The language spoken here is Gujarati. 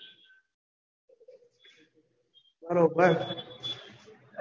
બરોબર